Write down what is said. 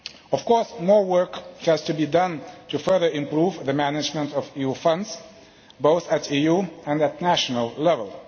Of course, more work has to be done to further improve the management of new funds both at EU and at national level.